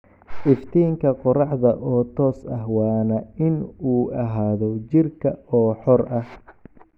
iftiinka qoraxda oo toos ah waana in uu ahaado jiirka oo xor ah